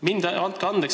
Mind – andke andeks!